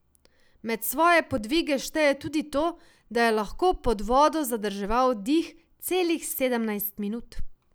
Med svoje podvige šteje tudi to, da je lahko pod vodo zadrževal dih celih sedemnajst minut.